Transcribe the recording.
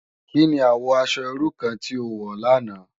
Ki ni àwò aṣò irú kàn ti ó wò làná?